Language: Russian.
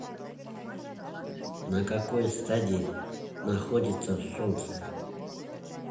на какой стадии находится солнце